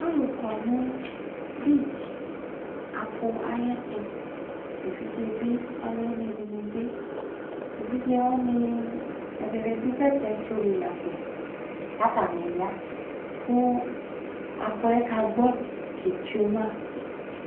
Alʋ kɔ nʋ (beach)apʋ ayɛtʋ : evidze bɩ alʋwɩnɩ dɩnɩ bɩ ; evidze wanɩ ɛdɩnɩ dʋ bɛtɛtsɔ li la lo , k'atanɩ ya , kʋ apʋɛ kagbɔ ketsue ma